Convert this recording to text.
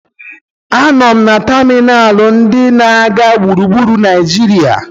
A nọ m na tamịnalụ ndị na-aga gburugburu Naijiria.